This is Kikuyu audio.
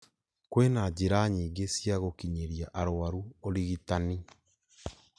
kwĩna njĩra nyingĩ cia gũkinyĩria arũaru ũrigitani